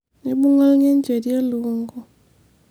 eibunga olgenjeri elikungu